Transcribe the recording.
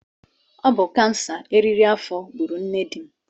Ọ bụ kansa nke eriri afọ gburu nne dim.